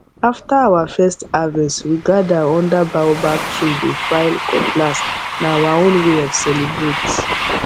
after our first harvest we gather under baobab tree dey file cutlassna our own way of celebrate